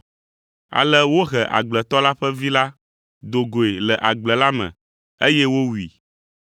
Ale wohe agbletɔ la ƒe vi la do goe le agble la me, eye wowui.